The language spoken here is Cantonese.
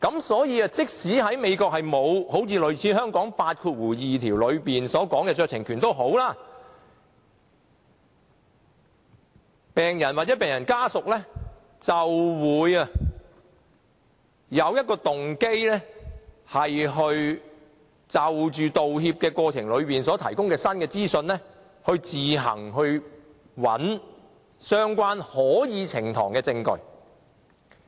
所以，即使美國沒有類似香港的第82條的酌情權，病人或病人家屬亦有動機就道歉過程中提供的新資訊，自行找相關可以呈堂的證據。